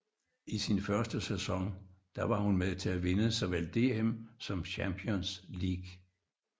I sin første sæson der var hun med til at vinde såvel DM som Champions League